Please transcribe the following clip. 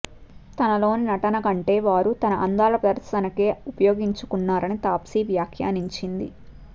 తనలోని నటన కంటే వారు తన అందాల ప్రదర్శనకే ఉపయోగించుకున్నారని తాప్సీవ్యాఖ్యానించింది